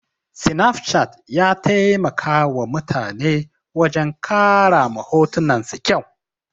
Snapchat ya taimakawa mutane wajen ƙara ma hotunan su kyau.